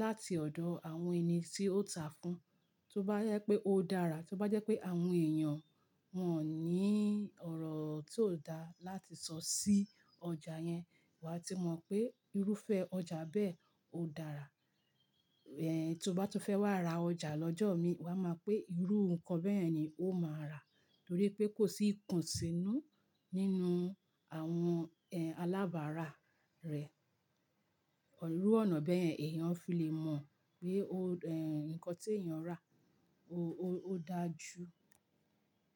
láti ọ̀dọ̀ àwọn ẹni tí ó tàá fún, tó bá jẹ́ pé ó dára, tó bá jẹ́ pé àwọn èèyàn wọ́n ò ní ọ̀rọ̀ tí ò dá láti sọ sí ọjà yẹn, wà á ti mọ̀ pé irúfẹ́ ọjà bẹ́ẹ̀ ó dára. Ẹ, tó bá tún fẹ́ wá ra ọjà lọ́jọ́ mi, wà á mọ̀ pé irú nǹkan bẹ́yẹ̀n ni ó máa rà, torí pé kò sí ìkùnsínú nínú àwọn, ẹ, alábárà rẹ̀. Ọ̀rú ọ̀nà bẹ́ẹ̀ èèyàn fi lè mọ̀ pé ó, ẹ, nǹkan tí èèyàn rà ó, ó dájú.